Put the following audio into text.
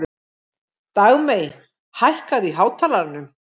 Dagmey, hækkaðu í hátalaranum.